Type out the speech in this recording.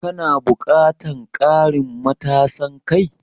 Kana buƙatan ƙarin matasan kai?